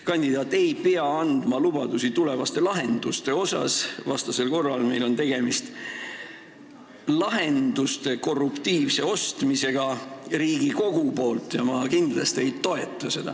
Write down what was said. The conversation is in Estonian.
Kandidaat ei pea andma lubadusi tulevaste lahenduste kohta, vastasel korral on meil tegemist lahenduste korruptiivse ostmisega Riigikogus ja seda ma kindlasti ei toeta.